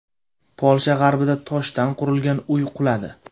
Polsha g‘arbida toshdan qurilgan uy quladi.